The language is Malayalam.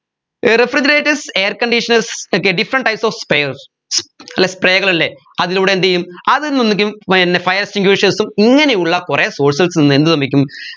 uh refrigerators air conditioners okay different types of sprays അല്ലെ spray കളല്ലേ അതിലൂടെ എന്തെയ്യും അതിൽ നിന്നിക്കും പിന്നെ fire extinguishers ഉം ഇങ്ങനെയുള്ള കുറെ sources ന്ന് എന്ത് സംഭവിക്കും